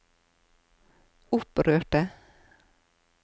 opprørte